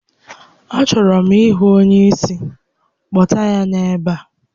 A chọrọ m ịhụ onye isi, kpọta ya n'ebe a!